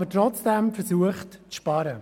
Trotzdem hat man versucht, zu sparen.